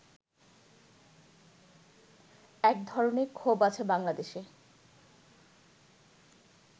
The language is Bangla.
এক ধরনের ক্ষোভ আছে বাংলাদেশে